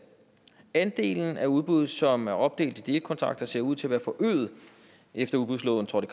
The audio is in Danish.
andelen af udbud som er opdelt i delkontrakter ser ud til at være forøget efter udbudsloven trådte